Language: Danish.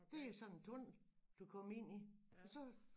Det er sådan en tunnel du kommer ind i og så